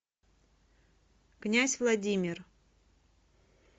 князь владимир